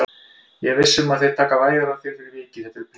Ég er viss um að þeir taka vægar á þér fyrir vikið, þetta eru prýðismenn